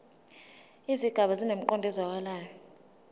izigaba zinemiqondo ezwakalayo